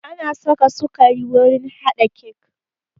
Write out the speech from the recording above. Ana saka sukari wurin haɗa kek